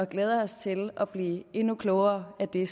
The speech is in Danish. glæder os til at blive endnu klogere af det